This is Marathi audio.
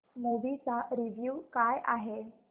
मूवी चा रिव्हयू काय आहे